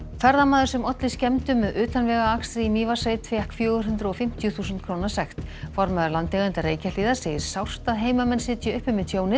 ferðamaður sem olli skemmdum með utanvegaakstri í Mývatnssveit fékk fjögur hundruð og fimmtíu þúsund króna sekt formaður landeigenda Reykjahlíðar segir sárt að heimamenn sitji uppi með tjónið